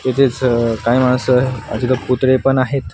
हे जे सर काय म्हणायचं स बाजूला कुत्रे पण आहेत.